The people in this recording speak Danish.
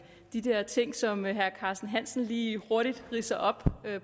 i de her ting som herre carsten hansen lige hurtigt ridser op